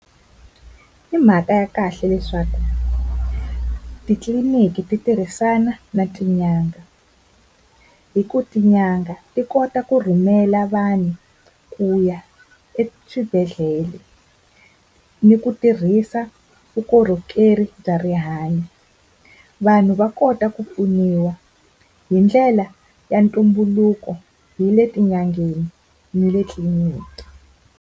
Hi mhaka ya kahle leswaku titliliniki titirhisana na tin'anga, hi ku tin'anga ti kota ku rhumela vanhu ku ya eswibedhlele ni ku tirhisa vukorhokeri bya rihanyo. Vanhu va kota ku pfuniwa hi ndlela ya ntumbuluko hi le tin'angeni ni le tliliniki.